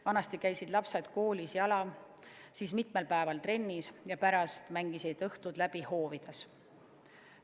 Vanasti käisid lapsed koolis jala, siis mitmel päeval trennis ja pärast mängisid õhtud läbi hoovis.